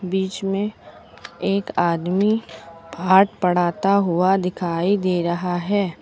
बीच में एक आदमी पाठ पढ़ाता हुआ दिखाई दे रहा है।